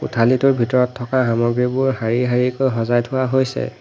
কোঠালিটোৰ ভিতৰত থকা সামগ্ৰীবোৰ শাৰী শাৰীকৈ সজাই থোৱা হৈছে।